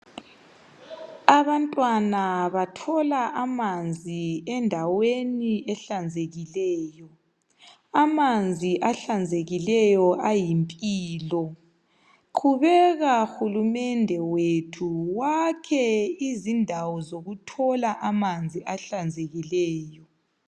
Abantwana bathola amanzi endaweni ehlanzekileyo. Amanzi ahlanzekileyo ayimpilo. Qhubeka hulumende wethu wakhe izindawo zokuthola amanzi ahlanzekileyo.